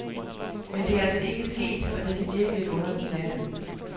Men det er altså ikke sket, og det kan virke lidt underligt, siger han.